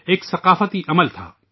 ایک سنسکار کا عمل تھا